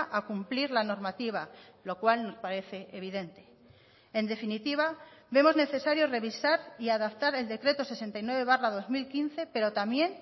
a cumplir la normativa lo cual nos parece evidente en definitiva vemos necesario revisar y adaptar el decreto sesenta y nueve barra dos mil quince pero también